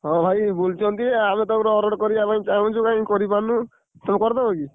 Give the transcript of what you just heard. ହଁ ଭାଇ ବୁଲୁଛନ୍ତି ଆମେତ ଗୋଟେ order କରିବା ପାଇଁ ଚାହୁଁଛୁ କାଇଁ କରିପାରୁନୁ, ତମେ କରିଦବକି?